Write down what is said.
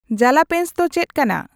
Jalapenos ᱫᱚ ᱪᱮᱫ ᱠᱟᱱᱟ ?